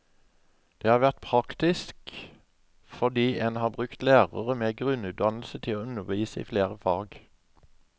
Det har vært praktisk, fordi en har brukt lærere med grunnutdannelse til å undervise i flere fag.